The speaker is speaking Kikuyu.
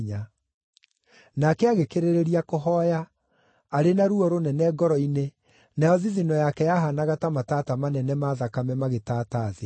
Nake agĩkĩrĩrĩria kũhooya, arĩ na ruo rũnene ngoro-inĩ, nayo thithino yake yahaanaga ta matata manene ma thakame magĩtaata thĩ.